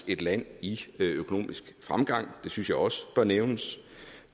et land i økonomisk fremgang det synes jeg også bør nævnes